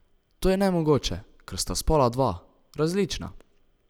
To je nemogoče, ker sta spola dva, različna.